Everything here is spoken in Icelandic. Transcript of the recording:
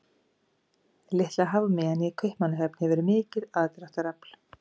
Litla hafmeyjan í Kaupmannahöfn hefur mikið aðdráttarafl.